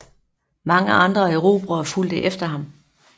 Mange andre erobrere fulgte efter ham